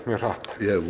hratt ég